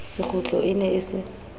sekgutlo e ne e se